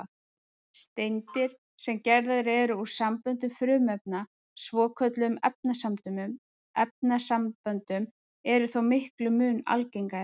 Steindir, sem gerðar eru úr samböndum frumefna, svokölluðum efnasamböndum, eru þó miklum mun algengari.